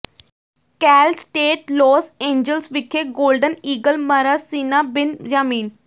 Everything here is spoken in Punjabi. ਕੈਲ ਸਟੇਟ ਲੌਸ ਏਂਜਲਸ ਵਿਖੇ ਗੋਲਡਨ ਈਗਲ ਮਰਾਸੀਨਾ ਬਿਨਯਾਮੀਨ